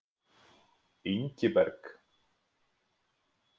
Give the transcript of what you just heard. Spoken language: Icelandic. Ingiberg